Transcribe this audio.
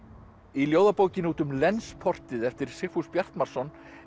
í ljóðabókinni út um eftir Sigfús Bjartmarsson